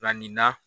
Nka nin na